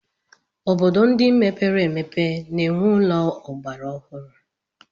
Obodo ndị mepere emepe na-enwe ụlọ ọgbara ọhụrụ.